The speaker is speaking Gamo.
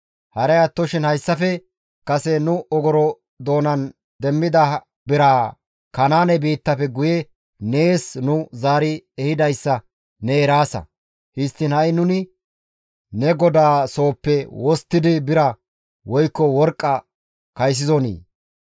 Haray attoshin hayssafe kase nu ogoro doonappe demmida biraa Kanaane biittafe guye nees nu zaari ehidayssa ne eraasa. Histtiin ha7i nuni ne godaa sooppe wosttidi bira woykko worqqa kaysizonii?